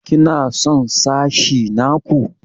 Ki na son sashi na ku?